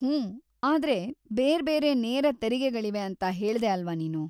ಹೂಂ, ಆದ್ರೆ ಬೇರ್ಬೇರೆ ನೇರ ತೆರಿಗೆಗಳಿವೆ ಅಂತ ಹೇಳ್ದೆ ಅಲ್ವಾ ನೀನು?